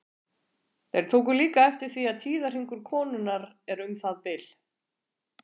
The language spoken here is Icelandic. Þeir tóku líka eftir því að tíðahringur konunnar er um það bil.